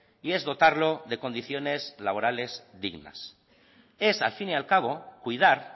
y es dotarlo de condiciones laborales dignas es al fin y al cabo cuidar